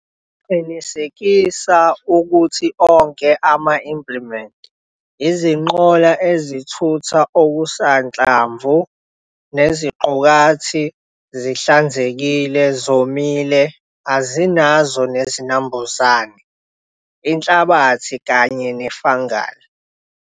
Qinisekisa ukuthi onke ama-implimenti, izinqola ezithutha okusanhlamvu neziqukathi zinhlanzekile, zomile azinazo nezinambuzane, inhlabathi kanye ne-fungal.